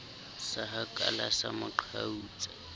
sa hakala sa mo qhautsa